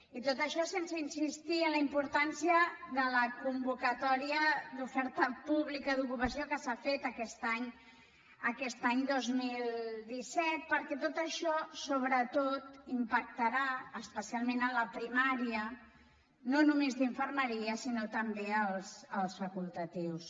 i tot això sense insistir en la importància de la convocatòria d’oferta pública d’ocupació que s’ha fet aquest any dos mil disset perquè tot això sobretot impactarà especialment en la primària no només d’infermeria sinó també als facultatius